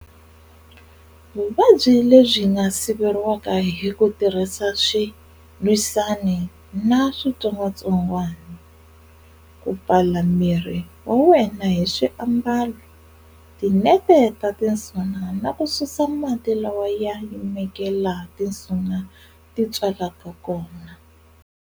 Vuvabyi lebyi nga siveriwa hi ku tirhisa swilwisani na switsongwatsongwani, ku pfala miri wa wena hi swiambalo, tinete ta tinsuna, na ku susa mati lawa ya yimeke laha tinsuna titswalaka kona.